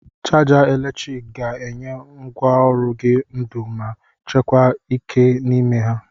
Chaja eletrik ga-enye ngwaọrụ gị ndu ma chekwa ike n'ime ha.